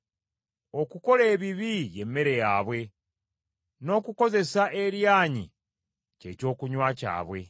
Okukola ebibi y’emmere yaabwe, n’okukozesa eryanyi kye kyokunywa kyabwe.